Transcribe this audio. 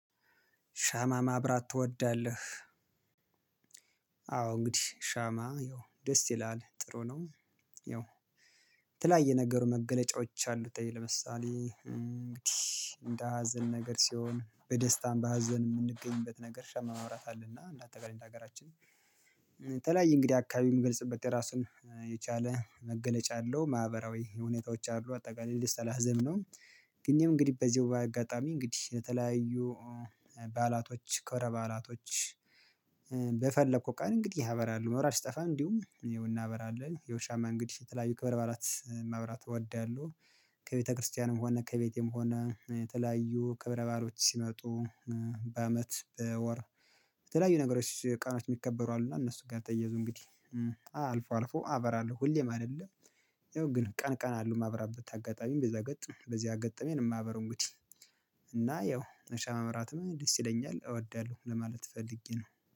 ሻማ ማብራት ትወዳለህ? አዎ እንግዲህ ሻማ ይኸው ደስ ይላል ጥሩ ነው። ያው የተለያየ ነገሩ መገለጫዎች አሉተይ ለምሳሌ እንግዲህ እንደ ሀዘን ነገር ሲሆን በደስታም በሀዘን የምንገኝበት ነገር ሻማ ማብራት አለብን በተለይ እንደ ሀገራችን ተለያይ እንግዲህ አካባቢም ምገልጽበት የራሱን የቻለ መገለጫ አለው። ማህበራዊ ሁኔታዎች አሉ አጠቃላይ ልስተላዘም ነው። ግን እኔም እንግዲህ በዚሁ በአጋጣሚ እንግዲህ ለተለያዩ ባዕላቶች ክብረ ባዕላቶች በፈለኩ ቀን እንግዲህ አበራለሁ መብራት ሲጠፋም እንዲሁም እናበራለን ያው ሻማ እንግዲህ የተለያዩ ክብረ ባዕላት ማብራት እወዳለሁ። ከቤተክርስቲያንም ሆነ ከቤቴም ሆነ የተለያዩ ክብረ ባዕሎች ሲመጡ በአመት በወር የተለያዩ ነገሮች ቀኖች የሚከበሩ አሉና እነሱ ጋር ተያይዞ እንግዲህ አዎ አልፎ አልፎ አበራለሁ ሁሌም አይደለም። ያው ግን ቀን ቀን አለው ማብራበት አጋጣሚ በዛ ገጥ በዚያ ገጥ እኔ ነው ማበራው እንግዲህ እና ያው ሻማ ማብራትም ደስ ይለኛል እወዳለሁ ለማለት ፈልጌ ነው